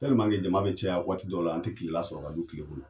Tɛlimanke jama be caya waati dɔw la an te kilela sɔrɔ ka du kiile kɔnɔ